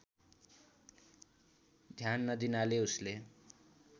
ध्यान नदिनाले उसले